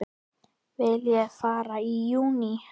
Vil ég fara í júní?